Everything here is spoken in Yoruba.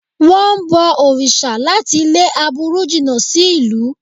Wọ́n ń bọ òrìṣà láti lé aburú jìnà sí ìlú